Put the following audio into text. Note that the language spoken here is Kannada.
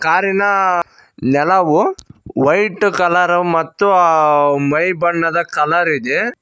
ಕಾರಿನ ನೆಲವು ವೈಟ್ ಕಲರ್ ಮತ್ತು ಮೈ ಬಣ್ಣದ ಕಲರ್ ಇದೆ.